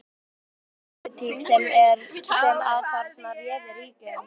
Er, var það pólitík sem að þarna réði ríkjum?